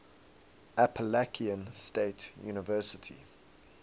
appalachian state university